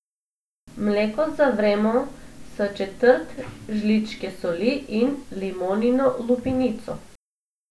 Mleko zavremo s četrt žličke soli in limonino lupinico.